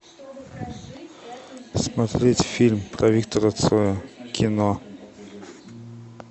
смотреть фильм про виктора цоя кино